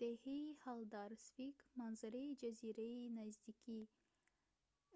деҳаи ҳалдарсвик манзараи ҷазираи наздики